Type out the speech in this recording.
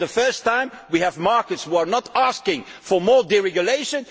For the first time, we have markets which are not asking for more deregulation